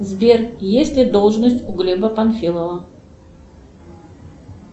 сбер есть ли должность у глеба панфилова